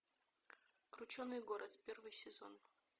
крученый город первый сезон